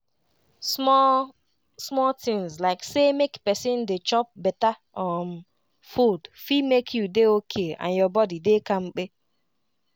small-small tinz like say make pesin dey chop beta um food fit make you dey okay and your body dey kampe.